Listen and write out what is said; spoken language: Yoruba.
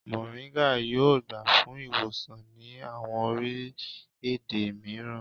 Moringa yoo gba fun iwosan ni awọn orilẹ-ede miiran